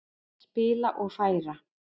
Spila og færa.